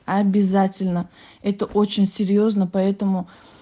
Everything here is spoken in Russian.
обязательно это очень серьёзно поэтому